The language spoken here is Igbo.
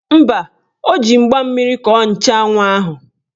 Mba, o ji mgba mmiri kọọ nchanwụ ahụ.